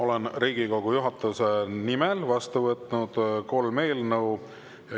Olen Riigikogu juhatuse nimel vastu võtnud kolm eelnõu.